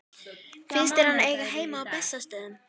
Finnst þér hann eiga heima á Bessastöðum?